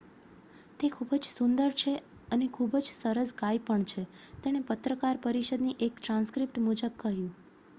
"""તે ખૂબ જ સુંદર છે અને ખૂબ જ સરસ ગાય પણ છે """તેણે પત્રકાર પરિષદની એક ટ્રાન્સક્રિપ્ટ મુજબ કહ્યું.